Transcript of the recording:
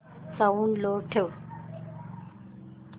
sound low ठेव